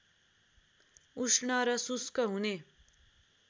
उष्ण र शुष्क हुने